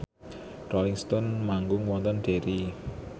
Rolling Stone manggung wonten Derry